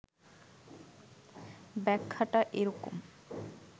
ব্যাখ্যাটা এরকম